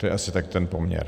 To je asi tak ten poměr.